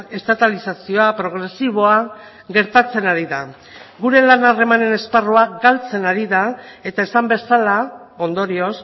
estatalizazioa progresiboa gertatzen ari da gure lan harremanen esparrua galtzen ari da eta esan bezala ondorioz